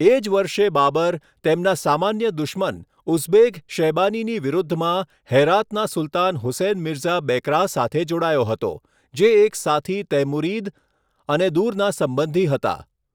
એ જ વર્ષે બાબર, તેમના સામાન્ય દુશ્મન ઉઝબેક શૈબાનીની વિરુદ્ધમાં, હેરાતના સુલતાન હુસેન મિર્ઝા બેકરાહ સાથે જોડાયો હતો, જે એક સાથી તૈમુરીદ અને દૂરના સંબંધી હતા.